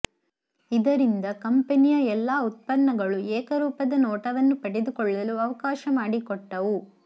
ಇದರಿಂದ ಕಂಪೆನಿಯ ಎಲ್ಲಾ ಉತ್ಪನ್ನಗಳು ಏಕರೂಪದ ನೋಟವನ್ನು ಪಡೆದುಕೊಳ್ಳಲು ಅವಕಾಶ ಮಾಡಿಕೊಟ್ಟವು